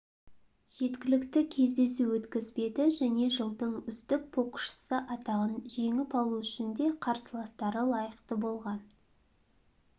жеткілікті кездесу өткізбеді және жылдың үздік боксшысы атағын жеңіп алу үшін де қарсыластары лайықты болған